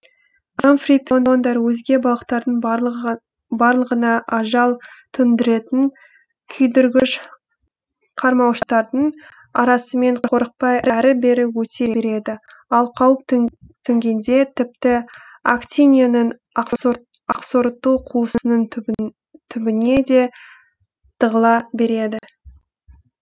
амфиприондар өзге балықтардың барлығына ажал төндіретін күйдіргіш қармауыштардың арасымен қорықпай әрі бері өте береді ал қауіп төнгенде тіпті актинияның асқорыту қуысының түбінее де тығыла береді